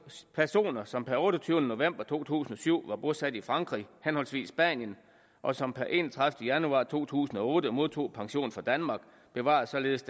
personer som per otteogtyvende november to tusind og syv var bosat i frankrig henholdsvis spanien og som per enogtredivete januar to tusind og otte modtog pension fra danmark bevarede således